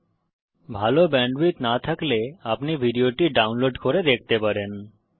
যদি ভাল ব্যান্ডউইডথ না থাকে তাহলে আপনি ভিডিওটি ডাউনলোড করে দেখতে পারেন